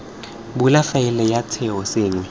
bula faele ya setheo sengwe